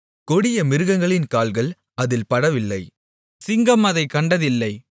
கொடிய மிருகங்களின் கால்கள் அதில் படவில்லை சிங்கம் அதைக் கடந்ததில்லை